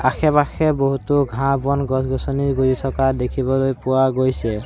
আশে পাশে বহুতো ঘাঁহ বন গছ-গছনি গঁজি থকা দেখিবলৈ পোৱা গৈছে।